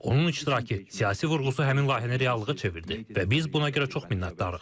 Onun iştirakı, siyasi vurğusu həmin layihəni reallığa çevirdi və biz buna görə çox minnətdarıq.